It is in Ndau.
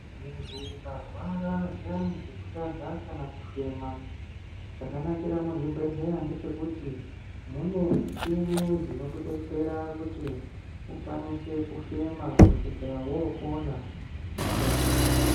Muntu ukarwara zviyani zvekutadza kana kufema chakanakira muzvibhedhlera ndechekuti mune muchina dzino kudetsera kuti ukwanise kufema kusvika wofema.